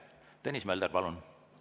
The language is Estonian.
Tõnis Mölder, palun!